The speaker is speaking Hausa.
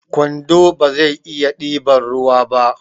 kwando bazai iya ɗiban ruwa ba